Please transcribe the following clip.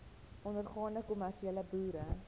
ondergaande kommersiële boere